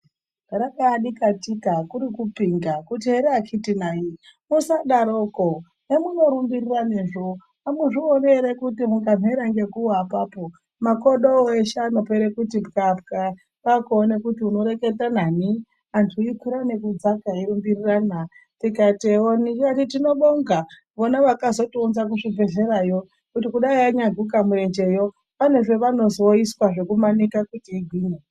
Rakaa dikitika kurikupinga kuti here akiti nayi, musadaroko, hamunorumbiriranezvo hamuzvioni ere kuti mukamhera ngekuwa apapo makodo eshe anopera kuti pwa-pwa, kwakuone kuti unoreketa nani, anhu eikwira nekudzaka nekurumbirirana tikati ewoni, tikati tinobonga vana vakatozounza kuzvibhehlerayo kuti kudai anyaguka mirenjeyo pane zvaanozoiswa zvekumanika kuti igwinye.